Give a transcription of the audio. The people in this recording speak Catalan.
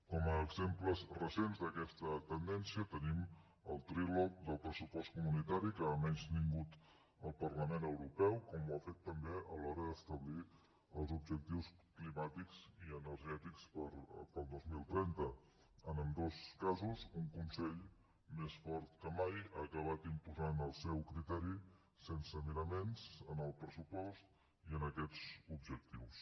com a exemples recents d’aquesta tendència tenim el trilog del pressupost comunitari que ha menystingut el parlament europeu com ho ha fet també a l’hora d’establir els objectius climàtics i energètics per al dos mil trenta en ambdós casos un consell més fort que mai ha acabat imposant el seu criteri sense miraments en el pressupost i en aquests objectius